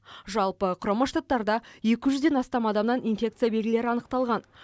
жалпы құрама штаттарда екі жүзден астам адамнан инфекция белгілері анықталған